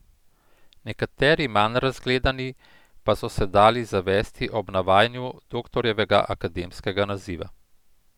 Nekateri, manj razgledani, pa so se dali zavesti ob navajanju Doktorjevega akademskega naziva.